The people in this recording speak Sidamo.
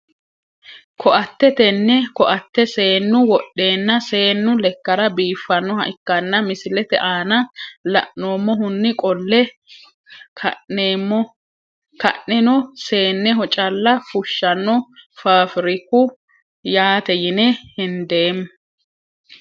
Koatte tene koate seenu wodheena seenu lekara biifanoha ikanna misilete aana la`noomohuni qolle kaneno seeneho calla fushano fafiriku yaate yine hendeemo.